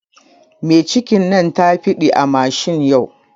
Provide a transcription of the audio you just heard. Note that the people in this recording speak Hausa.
Mai cikin nan tafiɗi a mashin yau